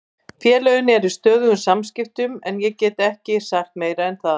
Félögin eru í stöðugum samskiptum en ég get ekki sagt meira en það.